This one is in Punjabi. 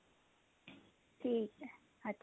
ਠੀਕ ਐ ਅੱਛਾ